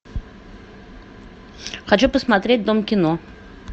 хочу посмотреть дом кино